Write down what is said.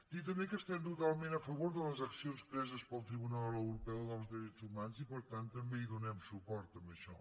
dir també que estem totalment a favor de les accions preses pel tribunal europeu dels drets humans i per tant també hi donem suport a això